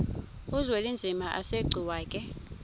uzwelinzima asegcuwa ke